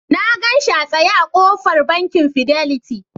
Na gan shi a tsaye a ƙofar Bankin Fidelity.